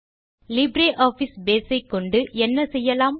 LibreOffice Base ஐ கொண்டு என்ன செய்யலாம்